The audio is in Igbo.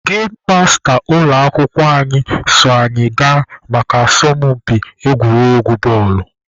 Gem masta ụlọ akwụkwọ anyị so anyị gaa maka asọmpi egwuregwu bọọlụ.